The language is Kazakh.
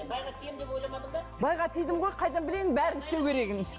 байға тиемін деп ойламадың ба байға тидім ғой қайдан білейін бәрін істеу керегін